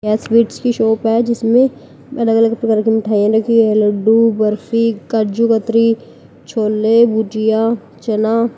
यह स्वीट्स की शॉप है जिसमें अलग अलग प्रकार की मिठाइयां रखी हुई है लड्डू बर्फी काजू कतरी छोले भुजिया चना।